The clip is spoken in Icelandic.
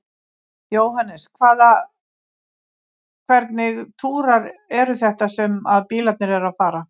Jóhannes: Hvaða, hvernig túrar eru þetta sem að bílarnir eru að fara?